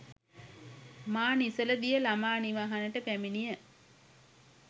මා නිසල දිය ළමා නිවහනට පැමිණිය